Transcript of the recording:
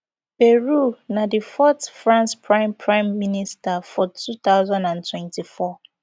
bayrou na di fourth france prime prime minister for two thousand and twenty-four